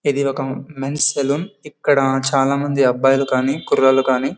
ఇది ఒక men's salon . ఇక్కడ చాలా మంది అబ్బాయిలు కానీ కుర్రాళ్ళు కానీ--